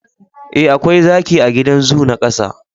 eh akwai zaki a gidan zoo na kasa